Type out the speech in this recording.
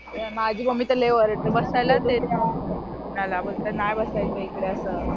माझी मम्मी तर लई ओरडते बसायलाच देत नाही कुणाला बोलते नाही बसायचं इकडे असं.